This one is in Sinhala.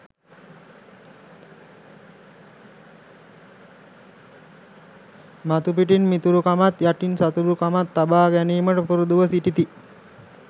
මතුපිටින් මිතුරුකමත් යටින් සතුරුකමත් තබා ගැනීමට පුරුදුව සිටිති.